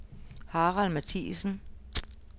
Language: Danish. Harald Matthiesen